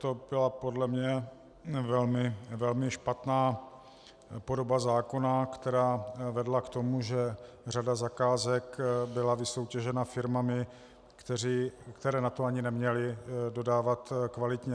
To byla podle mě velmi špatná podoba zákona, která vedla k tomu, že řada zakázek byla vysoutěžena firmami, které na to ani neměly dodávat kvalitně.